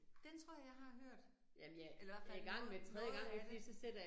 Den tror jeg, jeg har hørt, eller i hvert fald noget noget af det